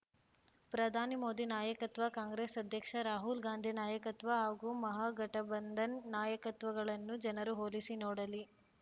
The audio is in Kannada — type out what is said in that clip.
ಪ್ರಧಾನಿ ಮೋದಿ ನಾಯಕತ್ವ ಕಾಂಗ್ರೆಸ್‌ ಅಧ್ಯಕ್ಷ ರಾಹುಲ್‌ ಗಾಂಧಿ ನಾಯಕತ್ವ ಹಾಗೂ ಮಹಾಗಠಬಂಧನ್‌ ನಾಯಕತ್ವಗಳನ್ನು ಜನರು ಹೋಲಿಸಿ ನೋಡಲಿ